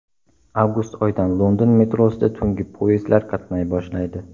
Avgust oyidan London metrosida tungi poyezdlar qatnay boshlaydi.